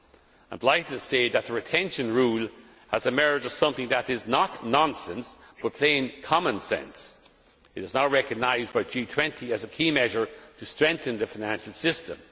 I would like to say that the retention rule has emerged as something that is not nonsense but plain common sense. It is now recognised by the G20 as a key measure to strengthen the financial system.